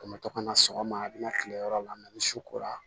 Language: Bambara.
An bɛ to ka na sɔgɔma a bɛna kile yɔrɔ la ni su kora